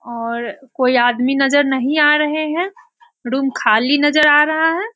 और कोई आदमी नजर नहीं आ रहे हैं। रूम खाली नजर आ रहा है।